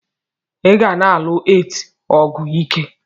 iga na alus8 ọlụ ike!!